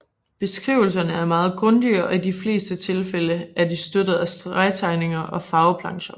Beskrivelserne er meget grundige og i de fleste tilfælde er de støttet af stregtegninger eller farveplancher